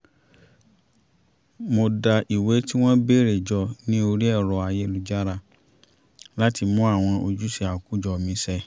mo dá ìwé tí wọ́n béèrè jọ ní orí ẹ̀rọ ayélujára láti mú àwọn ojúṣe àkójọ mi ṣẹ